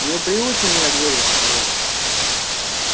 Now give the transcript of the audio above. не приучен я двери закрывать